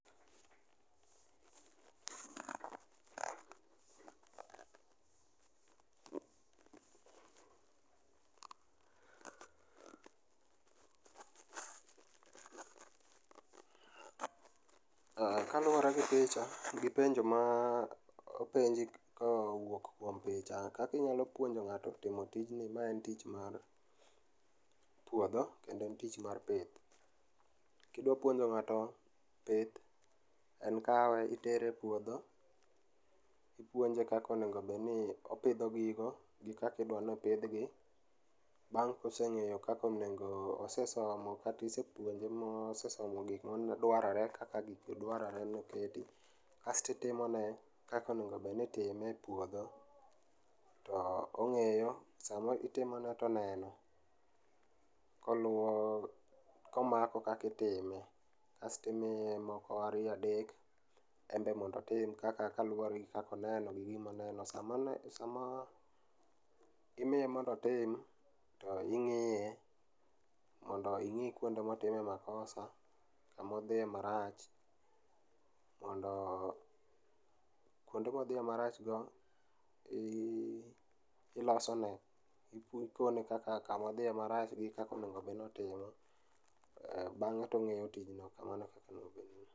Kaluore gi picha gi penjo mopenji kowuok kuom picha, kaka inyalo puonjo ng'ato timo tijni, ma en tich mar puodho kedo n tich mar pith. Kidwa puonjo ng'ato pith en ka itere e puodho ,ipuonje kaka onego obedni opidho gigo gi kaka odwani opidhgi. Bang' kosengeyo kaka onego ,osesomo kata isepuonjo ma osepuonjo gikma dwarore kaka gigi dwaroe ni, asto itimone kaka onego bedni itimo e puodho to ongeyo ,sama itimone to oneno koluwo ,komako kaka itime kasto imiye moko ariyo adek en be mondo otim kaka kaluore gi kaka oneno gi gima oneno sama ne, sama imiye mondo otim to ingiye mondo ing'i kuonde motime makosa, kama odhiye marach mondo kuonde modhiye marach go ilosone, ikone kaka kamodhiye marach gi kaka onego obed ni otimo. Bang'e tongeyo tijno kamano ekaka